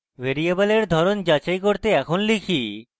ভ্যারিয়েবলের ধরন যাচাই করতে এখন type: